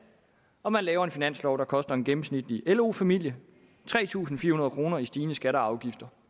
og man laver en finanslov der koster en gennemsnitlig lo familie tre tusind fire hundrede kroner i stigende skatter og afgifter